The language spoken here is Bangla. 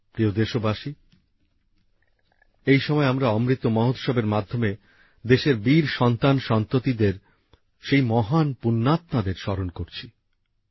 প্রিয় দেশবাসী এই সময় আমরা অমৃত মহোৎসব এর মাধ্যমে দেশের বীর সন্তান সন্ততিদের সেই মহান পূণ্যাত্মাদের স্মরণ করছি